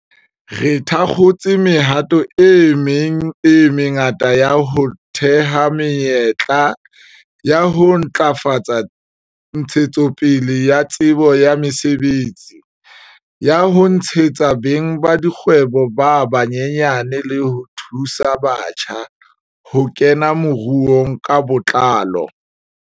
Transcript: Re thakgotse mehato e meng e mengata ya ho theha menyetla, ya ho ntlafatsa ntshetsopele ya tsebo ya mosebetsi, ya ho tshehetsa beng ba dikgwebo ba banyenyane le ho thusa batjha ho kena moruong ka botlalo.